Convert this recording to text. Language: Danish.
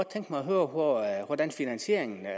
tænke mig at høre hvordan finansieringen af